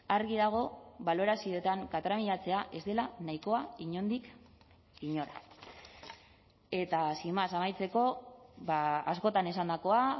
argi dago balorazioetan katramilatzea ez dela nahikoa inondik inora eta sin más amaitzeko askotan esandakoa